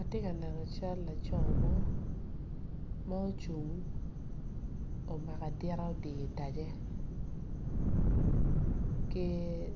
Atye ka neno cal laco mo ma ocung omako adita adi itace ki